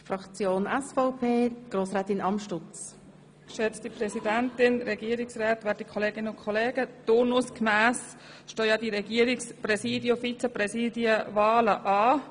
Turnusgemäss stehen die Wahlen für das Regierungspräsidium und das Regierungsvizepräsidium an.